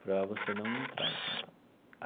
para você não entrar e tal.